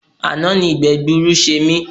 Àná ni ìgbẹ́gbuuru ṣe mí.